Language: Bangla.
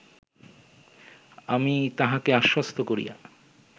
আমি তাহাকে আশ্বস্ত করিয়া